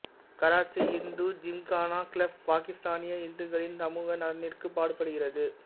Karachi Hindu Gymkhana club பாகிஸ்தானிய இந்துக்களின் சமூக நலனிற்கு பாடுபடுகிறது